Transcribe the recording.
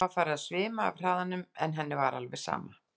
Hana var farið að svima af hraðanum en henni var alveg sama.